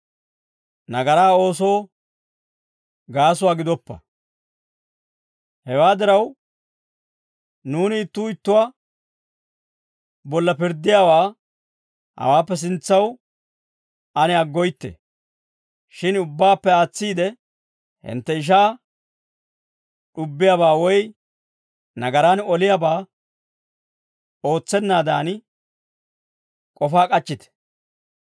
Hewaa diraw, nuuni ittuu ittuwaa bolla pirddiyaawaa hawaappe sintsaw ane aggoytte. Shin ubbaappe aatsiide, hintte ishaa d'ubbiyaabaa woy nagaraan oliyaabaa ootsennaadan k'ofaa k'achchite.